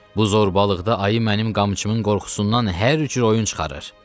Bu zorbalıqda ayı mənim qamçımın qorxusundan hər cür oyun çıxarır.